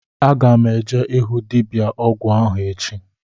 Aga m eje ịhụ dibịa ọgwụ ahụ echi